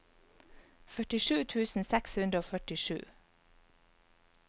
førtisju tusen seks hundre og førtisju